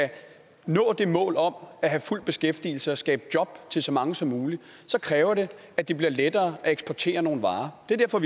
nå målet om at have fuld beskæftigelse og skabe job til så mange som muligt kræver det at det bliver lettere at eksportere nogle varer det er derfor